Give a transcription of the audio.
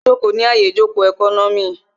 Ó jòkó ní àyè ìjòkó ẹkọ́nọ́mì